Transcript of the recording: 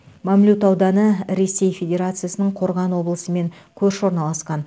мамлют ауданы ресей федерациясының қорған облысымен көрші орналасқан